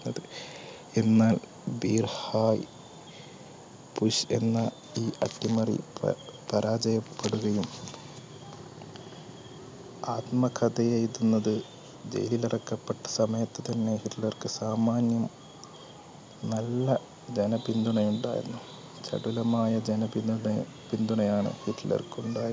അട്ടിമറി പരാജയപ്പെടുപെടുകയും ആത്മകഥ എഴുതുന്നത് ജയിലിൽ അടക്കപ്പെട്ട സമയത്ത് തന്നെ ഹിറ്റ്ലർക്ക് സാമാന്യ നല്ല ജന പിന്തുണയുണ്ടായിരുന്നു